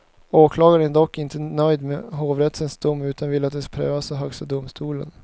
Åklagaren är dock inte nöjd med hovrättens dom utan vill att den prövas av högsta domstolen.